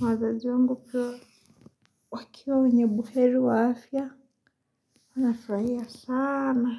Wazazi wangu pia. Wakiwa wenye buheri wa afya. Nafurahia sana.